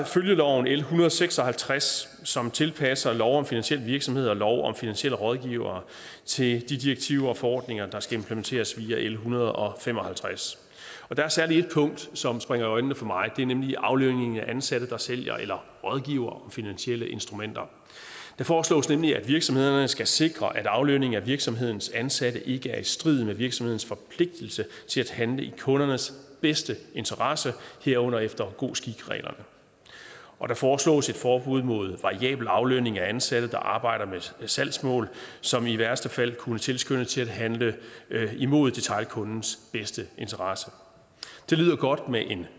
følgeloven l en hundrede og seks og halvtreds som tilpasser lov om finansiel virksomhed og lov om finansielle rådgivere til de direktiver og forordninger der skal implementeres via l en hundrede og fem og halvtreds og der er særlig ét punkt som springer i øjnene for mig og det er nemlig aflønningen af ansatte der sælger eller rådgiver om finansielle instrumenter det foreslås nemlig at virksomhederne skal sikre at aflønning af virksomhedens ansatte ikke er i strid med virksomhedens forpligtelse til at handle i kundernes bedste interesse herunder efter god skik reglerne og der foreslås et forbud mod variabel aflønning af ansatte der arbejder med salgsmål som i værste fald kunne tilskynde til at handle imod detailkundens bedste interesse det lyder godt med en